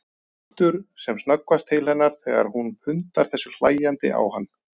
Hann lítur sem snöggvast til hennar þegar hún pundar þessu hlæjandi á hann.